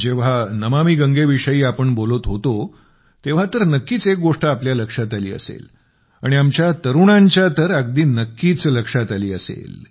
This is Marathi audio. जेव्हा नमामि गंगे विषयीआपण बोलत होतो तेव्हा तर नक्कीच एक गोष्ट आपल्या लक्षात आली असेल आणि आमच्या तरुणांच्या तर अगदी नक्कीच लक्षात आली असेल